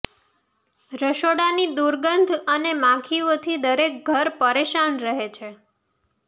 રસોડાની દુર્ગંધ અને માખીઓથી દરેક ઘર પરેશાન રહે છે